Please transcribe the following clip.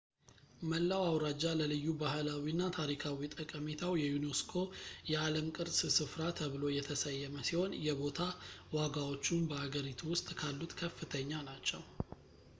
መላው አውራጃ ለልዩ ባህላዊ እና ታሪካዊ ጠቀሜታው የዩኔስኮ የዓለም ቅርስ ስፍራ ተብሎ የተሰየመ ሲሆን የቦታ ዋጋዎቹም በአገሪቱ ውስጥ ካሉት ከፍተኛ ናቸው